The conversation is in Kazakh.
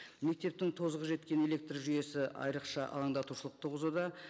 мектептің тозығы жеткен электржүйесі айрықша алаңдатушылық туғызуда